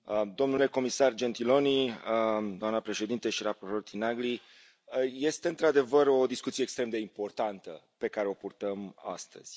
Domnule comisar Gentiloni, doamnă președintă și raportor Tinagli, este, într adevăr, o discuție extrem de importantă pe care o purtăm astăzi.